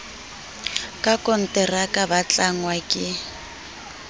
ka konteraka ba tlangwa ke